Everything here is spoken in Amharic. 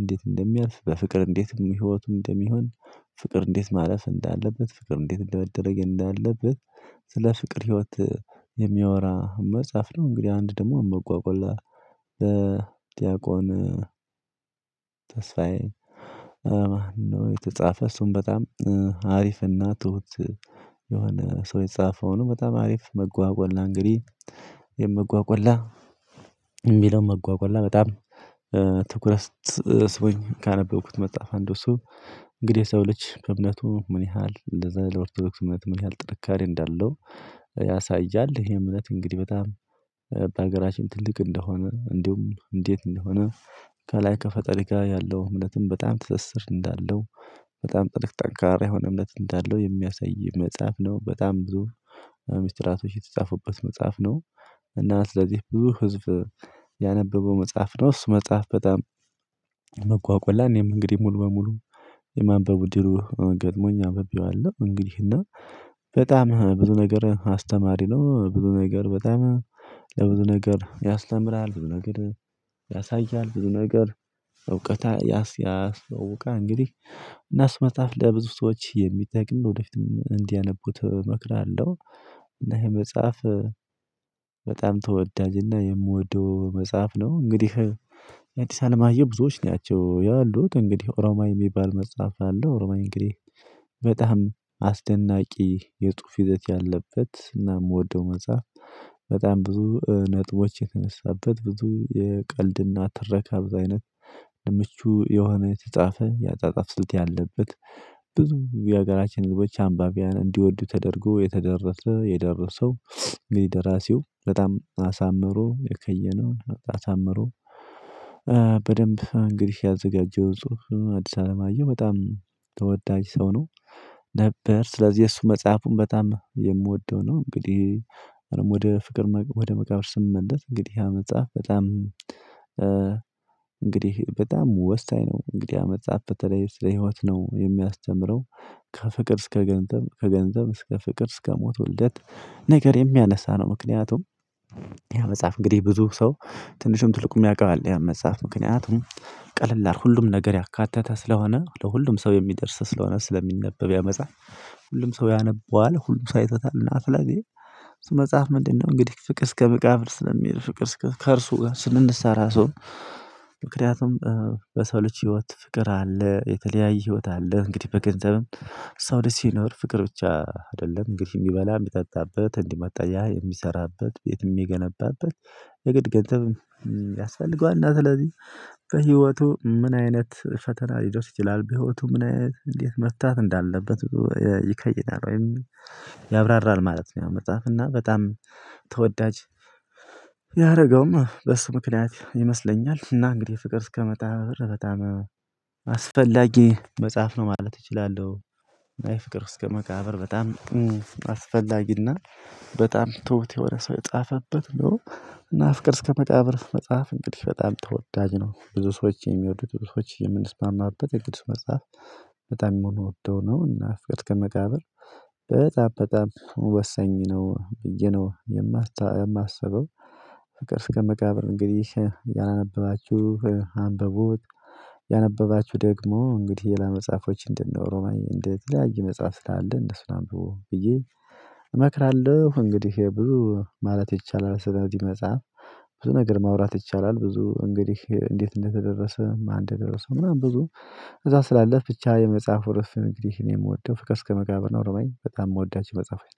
እንዴት እንደሚያልፍ በፍቅር እንዴት ህይወቱን እንደሚሆን ፍቅር እንዴት ማለፍ እንዳለበት ፍቅር እንዴት እንደሚያደርግ እንዳለበት ስለ ፍቅር ህይወት የሚያወራ መጽሐፍ ነው። እንግዲህ አንድ ደግሞ አመጓጎላ በዲያቆን ተስፋዬ የተጻፈ እሱን በጣም አሪፍና ትሁት የሆነ ሰው የጻፈው ነው። በጣም አሪፍ መጓጓላ እንግዲህ የመጓጓላ የሚለውን መጓጓላ በጣም ትኩረት ስቦኝ ካነበብኩት መጽሐፍ አንዱ እሱ እንግዲህ የሰው ልጅ በእምነቱ ምን ያህል እንደዛ ለኦርቶዶክስ እምነት ምን ያህል ጥንካሬ እንዳለው። ያሳያል ይሄ እምነት እንግዲህ በጣም አገራችን ትልቅ እንደሆነ እንዲሁም እንዴት እንደሆነ ከላይ ከፈጠሪ ጋር ያለው እምነትም በጣም ትስስር እንዳለው በጣም ጥልቅ ጠንካራ የሆነ እምነት እንዳለው የሚያሳይ መጽሐፍ ነው። በጣም ብዙ ሚስጥራቶች የተጻፉበት መጽሐፍ ነው እና ስለዚህ ብዙ ህዝብ ያነበበው መጽሐፍ ነው። እሱ መጽሐፍ በጣም መጓቆላ ላይ እኔም እንግዲህ ሙሉ በሙሉ የማንበቡ እድሉ ገጥሞኝ አንብቤዋለሁ። እንግዲህ እና በጣም ብዙ ነገር አስተማሪ ነው ብዙ ነገር በጣም ለብዙ ነገር ያስተምራል ብዙ ነገር ያሳያል ብዙ ነገር እውቀት ያስተዋውቃል እንግዲህ እና እሱመጣፍ ለብዙ ሰዎች የሚጠቅም ወደፊትም እንዲያነቡት እመክራለሁ። እና ይሄ መጽሐፍ በጣም ተወዳጅና የምወደው መጽሐፍ ነው። እንግዲህ የአዲስ አለም አየሁ ብዙዎች ናቸው ያሉት እንግዲህ ኦሮማይ የሚባል መጽሐፍ አለው ኦሮማይ እንግዲህ በጣም አስደናቂ የጽሁፍ ይዘት ያለበት እና የምወደው መጽሐፍ በጣም ብዙ ነጥቦች የተነሳበት ብዙ የቀልድና ትረካም አይነት ምቹ የሆነ የተጻፈ ያጻጻፍ ስልት ያለበት። የሀገራችን ልቦች አንባቢያን እንዲወዱ ተደርጎ የተደረሰ የደረሰው እንግዲህ ደራሲው በጣም አሳምሮ የከየነውን አሳምሮ በደንብ እንግዲህ ያዘጋጀው ጽሁፍ አዲስ አለማየሁ በጣም ተወዳጅ ሰው ነው። ነበር ስለዚህ የእሱ መጽሐፉን በጣም የምወደው ነው። እንግዲህ ወደ ፍቅር ወደ መቃብር ስመለስ እንግዲህ ያ መጽሐፍ በጣም እንግዲህ በጣም ወሳኝ ነው እንግዲህ ያመጻፍ በተለይ ስለ ህይወት ነው የሚያስተምረው። ከፍቅር እስከ ገንዘብ ከገንዘብ እስከ ፍቅር እስከ ሞት ውልደት ነገር የሚያነሳ ነው። ምክንያቱም ያ መጽሐፍ እንግዲህ ብዙ ሰው ትንሽም ትልቁም ያውቃል ያን መጽሐፍ ምክንያቱም ቀለል ሁሉም ነገር ያካተተ ስለሆነ ለሁሉም ሰው የሚደርስ ስለሆነ ስለሚነበብ ያመጻፍ። ሁሉም ሰው ያነበዋል ሁሉም ሰው አይቶታልና ስለዚህ እሱ መጽሐፍ ምንድነው? እንግዲህ ፍቅር እስከ ምቃብር ስለሚሄድ ፍቅር እስከ ከእርሱ ጋር ስንሰራ ሰው። ምክንያቱም በሰው ልጅ ህይወት ፍቅር አለ የተለያየ ህይወት አለ እንግዲህ በገንዘብም የሰው ልጅ ሲኖር ፍቅር ብቻ አይደለም እንግዲህ የሚበላ የሚጠጣበት እንዲህ መጠለያ የሚሰራበት ቤት የሚገነባበት የግድ ገንዘብ ያስፈልገዋል። እና ስለዚህ በህይወቱ ምን አይነት ፈተና ሊደርስ ይችላል በህይወቱ ምን አይነት እንዴት መርታት እንዳለበት። ይከይዳል ወይም ያብራራል ማለት ነው። ያው መጽሐፍ እና በጣም ተወዳጅ ያደረገውም በሱ ምክንያት ይመስለኛል እና እንግዲህ ፍቅር እስከመቃ በጣም አስፈላጊ መጽሐፍ ነው ማለት እችላለሁ። አይ ፍቅር እስከ መቃብር በጣም አስፈላጊና በጣም ትውት የሆነ ሰው የጻፈበት ነው። እና ፍቅር እስከ መቃብር መጽሐፍ እንግዲህ በጣም ተወዳጅ ነው። ብዙ ሰዎች የሚወዱ ትዕቢሶች የምንስማማበት የቅዱስ መጽሐፍ በጣም የሚሆኑ ወጥቶ ነው እና ፍቅር እስከመቃብር በጣም በጣም ወሰኝ ነው ብዬ ነው። የማስበው ፍቅርስከ መቃብር እንግዲህ ያላነበባችሁ አንብቡ ያነበባችሁ ደግሞ እንግዲህ ሌላ መጽሐፎች እንድነ ኦሮማይ እንደ የተለያየ መጽሐፍ ስላሉ እነሱን አምብቡ ብዬ እመክራለሁ። እንግዲህ ብዙ ማለት ይቻላል ስለዚህ መጽሐፍ ብዙ ነገር ማውራት ይቻላል። ብዙ እንግዲህ እንዴት እንደተደረሰ ማን እንደደረሰው ምናምን ብዙ እዛ ስላለ ብቻ የመጽሐፉ ርዕስ እንግዲህ አኔ የምወደው ፍቅር እስከመቃብር እና ኦሮማይ በጣም የምወዳቸው መጽሐፍ ናቸው